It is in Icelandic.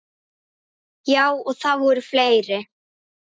Já, og það voru fleiri.